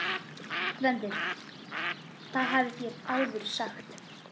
GVENDUR: Það hafið þér áður sagt.